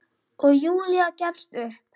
Og Júlía gefst upp.